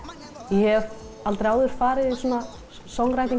ég hef aldrei áður farið í svona